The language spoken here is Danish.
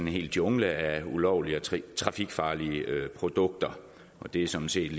hel jungle af ulovlige og trafikfarlige produkter og det er sådan set